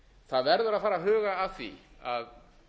það verður að fara að huga að því að